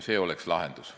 See oleks lahendus.